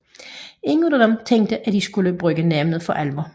Ingen af dem tænkte at de ville skulle bruge navnet for alvor